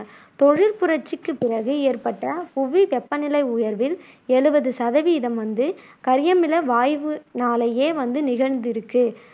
தொழிற்புரட்சிக்குப் பிறகு ஏற்பட்ட புவி வெப்பநிலை உயர்வில் எழுவது சதவீதம் வந்து கரியமில வாய்வுனாலேயே வந்து நிகழ்ந்துருக்கு